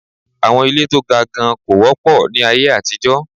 Àwọn ilé to ga gan kò wọ́pọ̀ ní aye àtijọ́.